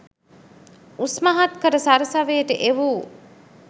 උස්මහත් කර සරසවියට එවූ